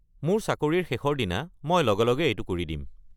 মোৰ চাকৰিৰ শেষৰ দিনা মই লগে লগে এইটো কৰি দিম।